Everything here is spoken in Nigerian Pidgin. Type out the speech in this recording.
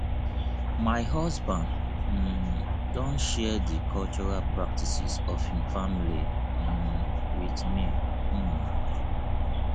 my husband um don share di cultural practices of im family um with me um